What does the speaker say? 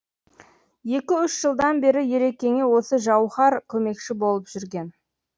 екі үш жылдан бері ерекеңе осы жауһар көмекші болып жүрген